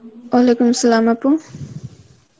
Arbi আপু.